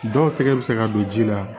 Dɔw tɛgɛ bɛ se ka don ji la